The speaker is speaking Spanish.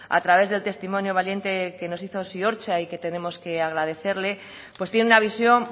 a través del testimonio valiente que nos hizo ziortza y que tenemos que agradecerle pues tiene una visión